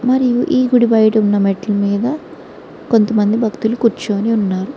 మరియు ఈ గుడి బయట ఉన్న మెట్ల మీద కొంతమంది భక్తులు కూర్చోని ఉన్నారు.